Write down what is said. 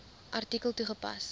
artikel toegepas